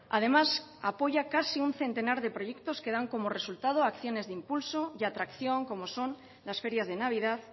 además apoya casi a un centenar de proyectos que dan como resultado acciones de impulso y atracción como son las ferias de navidad